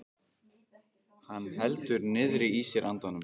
Hann heldur niðri í sér andanum.